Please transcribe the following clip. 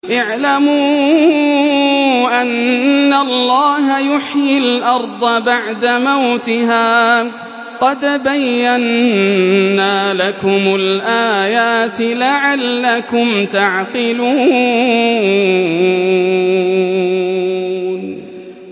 اعْلَمُوا أَنَّ اللَّهَ يُحْيِي الْأَرْضَ بَعْدَ مَوْتِهَا ۚ قَدْ بَيَّنَّا لَكُمُ الْآيَاتِ لَعَلَّكُمْ تَعْقِلُونَ